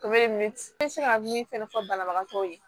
O bɛ min se ka min fɛnɛ fɔ banabagatɔw ye